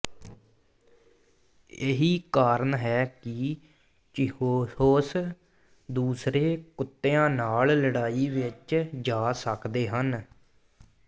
ਇਹੀ ਕਾਰਨ ਹੈ ਕਿ ਚਿਹੂਹਹੌਸ ਦੂਸਰੇ ਕੁੱਤਿਆਂ ਨਾਲ ਲੜਾਈ ਵਿਚ ਜਾ ਸਕਦੇ ਹਨ